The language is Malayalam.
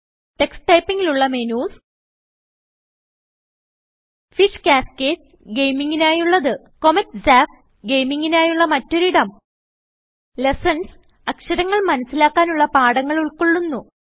ടക്സ് Typingൽ ഉള്ള മെനുസ് ഫിഷ് കാസ്കേഡ് -ഗെയിമിങ്ങിനായുള്ളത് കോമെറ്റ് സാപ്പ് - ഗെയിമിങ്ങിനായുള്ള മറ്റൊരിടം ലെസൻസ് - അക്ഷരങ്ങൾ മനസിലാക്കാനുള്ള പാഠങ്ങൾ ഉൾകൊള്ളുന്നു